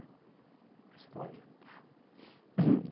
É Santa Maria. Hum